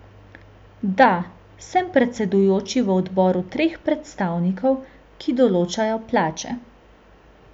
Da, sem predsedujoči v odboru treh predstavnikov, ki določajo plače.